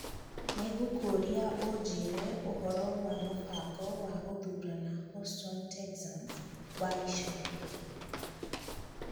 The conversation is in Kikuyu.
Nĩngũkũria ũnjĩrie ũhoro wa mũbango wa gũthuurana Houston Texans wa ica ikuhĩ